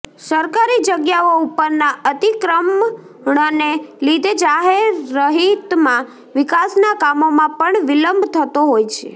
સરકારી જગ્યાઓ ઉપરના અતિક્રમણને લીધે જાહેરહિતમાં વિકાસના કામોમા પણ વિલંબ થતો હોય છે